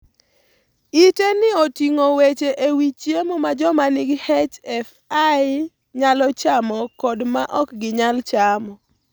Ite ni oting'o weche e wi chiemo ma joma nigi HFI nyalo chamo kod ma ok ginyal chamo.